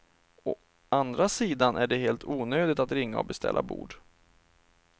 Å andra sidan är det helt onödigt att ringa och beställa bord.